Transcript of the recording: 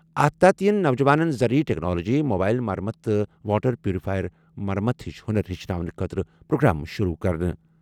اَتھ تحت یِن نوجوانَن زرعی ٹیکنالوجی، موبایِل مرمت تہٕ واٹر پیوریفائر مرمت ہِش ہُنَر ہچھناونہٕ خٲطرٕ پروگرام شُروٗع کرنہٕ۔